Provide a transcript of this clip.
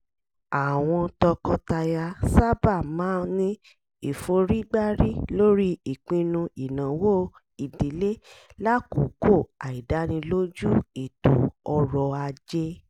àwọn tọkọtaya sábà máa ní ìforígbárí lórí ìpinnu ìnáwó ìdílé lákòókò àìdánilójú ètò ọrọ̀ ajé